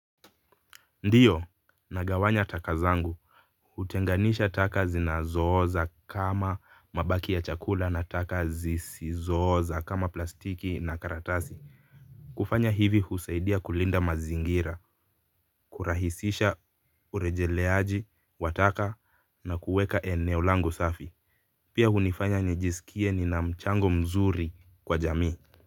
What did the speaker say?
Ndiyo nagawanya taka zangu hutenganisha taka zinazo oza kama mabaki ya chakula na taka zisizo oza kama plastiki na karatasi kufanya hivi husaidia kulinda mazingira kurahisisha urejeleaji wa taka na kuweka eneo langu safi pia hunifanya nijisikie nina mchango mzuri kwa jamii.